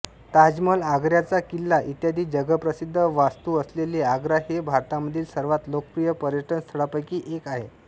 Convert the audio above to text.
ताजमहाल आग्र्याचा किल्ला इत्यादी जगप्रसिद्ध वास्तू असलेले आग्रा हे भारतामधील सर्वात लोकप्रिय पर्यटनस्थळांपैकी एक आहे